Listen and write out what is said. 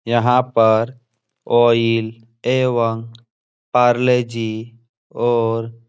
यहाँ पर ऑयल एवं पारले जी और --